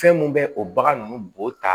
Fɛn mun bɛ o bagan ninnu bo ta